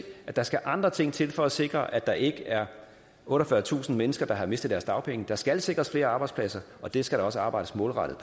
at der skal andre ting til for at sikre at der ikke er otteogfyrretusind mennesker der har mistet deres dagpenge der skal sikres flere arbejdspladser og det skal der også arbejdes målrettet